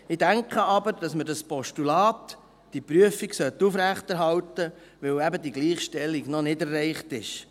Ich denke aber, dass man dieses Postulat, diese Prüfung aufrechterhalten sollte, weil ebendiese Gleichstellung noch nicht erreicht ist.